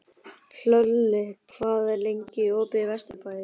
Hlölli, hvað er lengi opið í Vesturbæjarís?